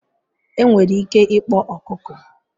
Enwere ike ịkpọ ọkụkọ